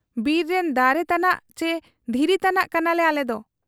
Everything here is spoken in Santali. ᱵᱤᱨ ᱨᱤᱱ ᱫᱟᱨᱮ ᱛᱟᱱᱟᱜ ᱪᱤ ᱫᱷᱤᱨᱤ ᱛᱟᱱᱟᱜ ᱠᱟᱱᱟᱞᱮ ᱟᱞᱮᱫᱚ ᱾